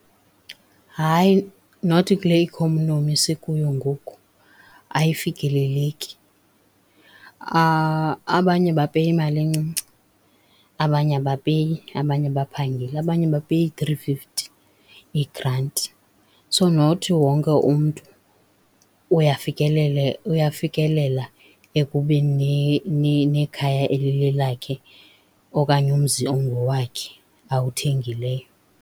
Hayi not kule ikhonomi sikuyo ngoku ayifikeleleki. Abanye bapeya imali encinci, abanye abapeyi abanye abaphangeli, abanye bapeya ii-three fifty, iigranti. So not wonke umntu uyafikelela ekubeni nekhaya elilelakhe okanye umzi ongowakhe awuthengileyo.